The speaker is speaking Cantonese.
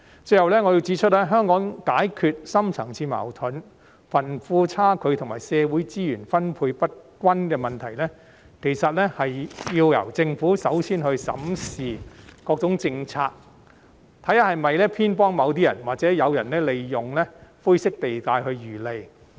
最後，我要指出，香港要解決深層次矛盾、貧富差距和社會資源分配不均等問題，其實要由政府首先審視各項政策，看看有否偏幫某些人，或者是否有人利用灰色地帶來漁利。